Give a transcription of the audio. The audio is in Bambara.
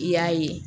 I y'a ye